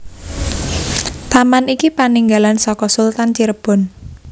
Taman iki paninggalan saka Sultan Cirebon